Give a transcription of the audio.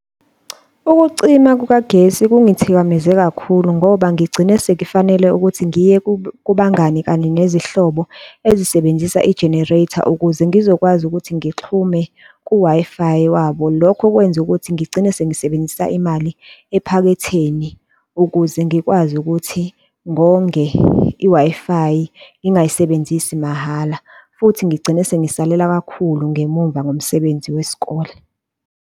Ukucima kukagesi kungithikameze kakhulu ngoba ngigcine sekufanele ukuthi ngiye kubangani kanye nezinhlobo ezisebenzisa i-generator ukuze ngizokwazi ukuthi ngixhume ku-Wi-Fi wabo, lokho kwenze ukuthi ngigcine sengisebenzisa imali ephaketheni ukuze ngikwazi ukuthi ngonge i-Wi-Fi, ngingayisebenzisi mahhala, futhi ngigcine sengisalela kakhulu ngemumva ngomsebenzi wesikole.